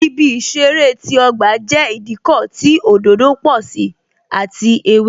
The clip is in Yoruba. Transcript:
Ibi ìṣeré ti ọgba jẹ́ Ìdíkọ̀ tí òdòdó pò sí àti ewé